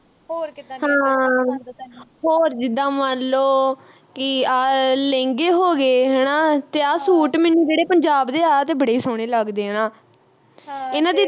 ਹਾਂ ਹੋਰ ਜਿੱਦਾ ਮੰਨ ਲੋ ਕਿ ਆਹ ਲਹਿੰਗੇ ਹੋ ਗਏ ਹਣਾ ਤੇ ਆਹ ਸੂਟ ਮੈਨੂੰ ਜਿਹੜੇ ਪੰਜਾਬ ਦੇ ਆਹ ਤੇ ਬੜੇ ਸੋਹਣੇ ਲੱਗਦੇ ਆ ਨਾ ਇਨ੍ਹਾਂ ਦੀ ਤਾਂ ਵੱਖਰੀ ਟੌਰ